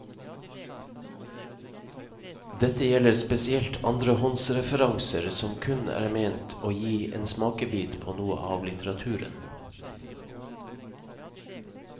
Dette gjelder spesielt andrehåndsreferanser som kun er ment å gi en smakebit på noe av litteraturen.